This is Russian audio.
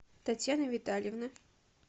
татьяны витальевны